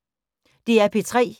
DR P3